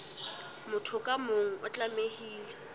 motho ka mong o tlamehile